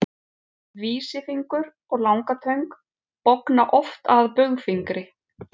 vísifingur og langatöng bogna oft að baugfingri